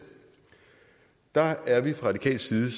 der er vi fra radikal side